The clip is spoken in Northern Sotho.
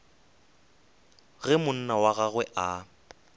ge monna wa gagwe a